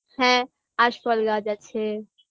হ্যাঁ আশফল গাছ আছে